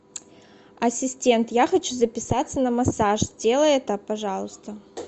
ассистент я хочу записаться на массаж сделай это пожалуйста